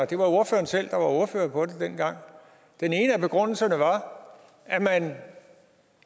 det var ordføreren selv der var ordfører på det dengang og den ene af begrundelserne var at man